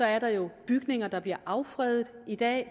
er der jo bygninger der bliver affredet i dag